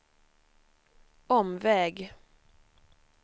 omväg